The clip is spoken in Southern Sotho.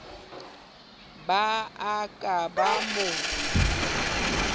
ba a ka ba mo